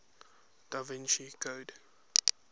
da vinci code